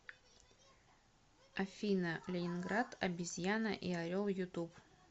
афина ленинград обезьяна и орел ютуб